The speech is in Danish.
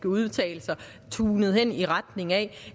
udtalelser tunet hen i retning af